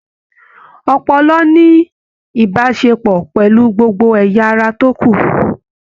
Ọpọlọ ní ìbáṣepọ̀ pẹlú gbogbo ẹyà ará tó kù.